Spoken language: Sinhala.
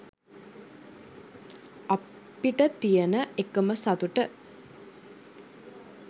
අපිට තියන එකම සතුට